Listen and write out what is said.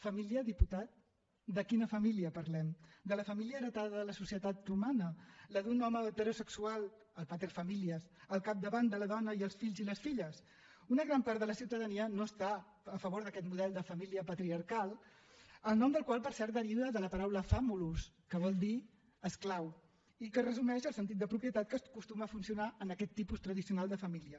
família diputat de quina família parlem de la família heretada de la societat romana la d’un home heterosexual el pater familiasels fills i les filles una gran part de la ciutadania no està a favor d’aquest model de família patriarcal el nom del qual per cert deriva de la paraula famulus que vol dir esclau i que resumeix el sentit de propietat que acostuma a funcionar en aquest tipus tradicional de família